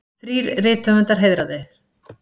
Þrír rithöfundar heiðraðir